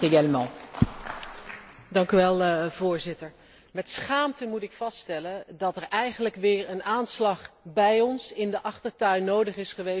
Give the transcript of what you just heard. Met schaamte moet ik vaststellen dat er eigenlijk weer een aanslag bij ons in de achtertuin nodig is geweest om ons wakker te schudden over wat er gebeurt in Irak.